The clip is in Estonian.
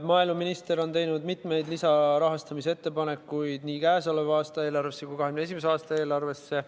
Maaeluminister on teinud mitmeid lisarahastamise ettepanekuid nii käesoleva aasta eelarvesse kui ka 2021. aasta eelarvesse.